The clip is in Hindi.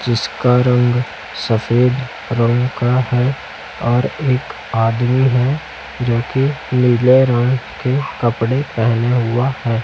जिसका रंग सफेद रंग का है और एक आदमी है जोकि नीले रंग के कपड़े पहने हुआ है।